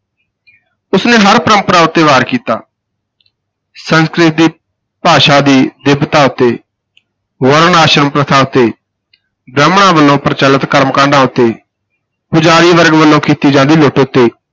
ਉਸ ਨੇ ਹਰ ਪਰੰਪਰਾ ਉਤੇ ਵਾਰ ਕੀਤਾ ਸੰਸਕ੍ਰਿਤ ਭਾਸ਼ਾ ਦੀ ਦਿੱਬਤਾ ਉਤੇ ਵਰਣ ਆਸ਼ਰਮ ਪ੍ਰਥਾ ਉਤੇ ਬ੍ਰਾਹਮਣਾਂ ਵਲੋਂ ਪ੍ਰਚੱਲਤ ਕਰਮਕਾਂਡਾਂ ਉਤੇ, ਪੁਜਾਰੀ ਵਰਗ ਵਲੋਂ ਕੀਤੀ ਜਾਂਦੀ ਲੁੱਟ ਉਤੇ